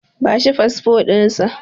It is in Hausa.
Ku ba shi fasfo ɗinsa!